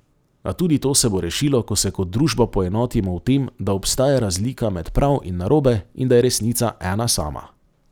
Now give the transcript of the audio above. A tudi to se bo rešilo, ko se kot družba poenotimo v tem, da obstaja razlika med prav in narobe in da je resnica ena sama.